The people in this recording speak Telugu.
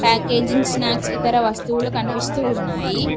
ప్యాకేజింగ్ స్నాక్స్ ఇతర వస్తువులు కనిపిస్తూ ఉన్నాయి.